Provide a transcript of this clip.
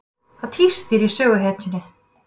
Það tístir í söguhetjunni.